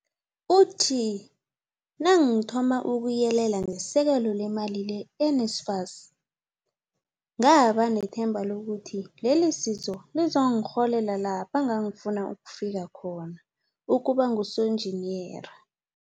Uthi, Nangithoma ukuyelela ngesekelo lemali le-NSFAS, ngaba nethemba lokuthi lelisizo lizongirholela lapha ngangifuna ukufika khona, ukuba ngusonjiniyera.